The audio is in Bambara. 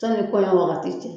Sani kɔɲɔn wagati cɛ